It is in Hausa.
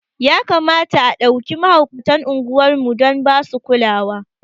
Ya kamata a ɗauke mahaukatan unguwar mu dan basu kulawa